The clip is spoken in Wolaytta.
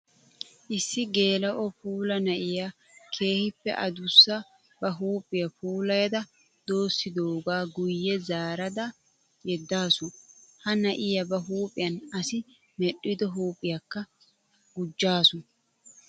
Issi geela'o puula na'iya keehippe adussa ba huuphiya puulayadda doossidoga guye zaarada yeddaasu. Ha na'iya ba huuphiyan asi medhdhiddo huuphiyakkka gujjaasu.